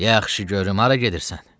Yaxşı, görüm hara gedirsən?